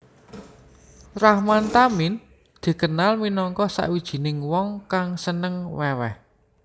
Rahman Tamin dikenal minangka sawijining wong kang seneng weweh